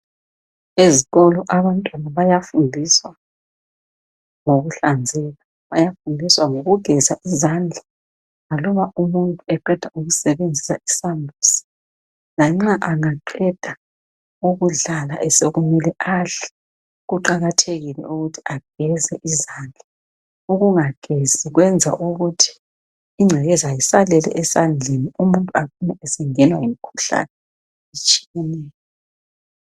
Ezikolo abantwana bayafundiswa ngokuhlanzeka bayafundiswa ngokugeza izandla aluba umuntu eqeda ukusebenzisa izambuzi lanxa engaqeda ukudlala sokumele adle kuqakathekile ukuthi ageze izandla, ukungagezi kwenza ukuthi ingcekeza isalele esandleni umuntu acine sengenwa ngumkhuhlane otshiyeneyo.